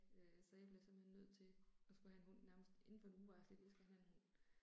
Øh så jeg blev simpelthen nødt til at skulle have en hund nærmest indenfor en uge var jeg sådan lidt jeg skal have en hund